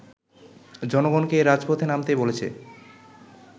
জনগণকে রাজপথে নামতে বলেছে